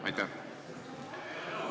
Aitäh!